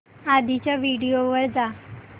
आधीच्या व्हिडिओ वर जा